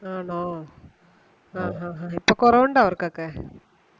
ആണോ ആ ആ ആ ഇപ്പോ കുറവുണ്ടോ അവർക്കൊക്കെ